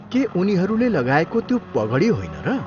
के उनीहरूले लगाएको त्यो पगडी होइन र?